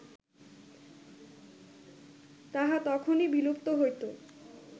তাহা তখনই বিলুপ্ত হইত